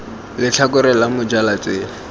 letlhakore la moja la tsela